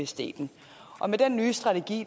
staten med den nye strategi